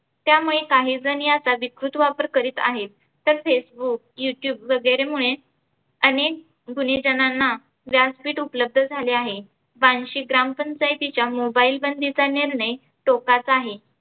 त्यामुळे त्याचा विकृत वापर करित आहेत. तसेच YouTube वगैरे मुळे आनेक गुनीजणांना व्यासपिठ उपलब्ध झाले आहे. बांशी ग्रामपंचायतीच्या mobile बंदीचा निर्णय टोकाचा आहे.